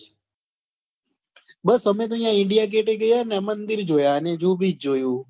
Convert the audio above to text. બસ અમે તો યા india gate એ ગયેલા ને ત્યાં મંદિર જોયા ને જુ beach જોયુ